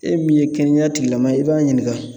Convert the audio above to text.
E min ye kɛnɛya tigilamaa ye i b'a ɲininka